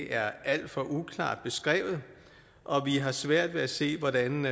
er alt for uklart beskrevet og vi har svært ved at se hvordan